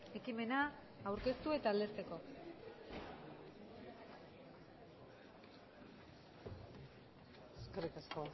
ekimena aurkeztu eta aldezteko eskerrik asko